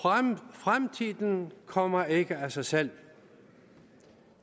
fremtiden kommer ikke af sig selv